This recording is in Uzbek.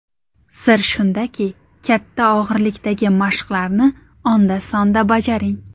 Sir shundaki, katta og‘irlikdagi mashqlarni onda-sonda bajaring.